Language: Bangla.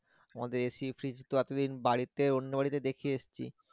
আমাদের AC fridge তো আপনি বাড়িতে অন্য বাড়িতে দেখে এসছি